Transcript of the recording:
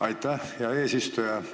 Aitäh, hea eesistuja!